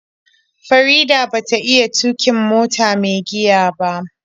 Farida ba ta iya tuƙin mota mai giya ba.